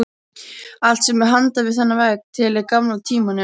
Allt sem er handan við þennan vegg tilheyrir gamla tímanum.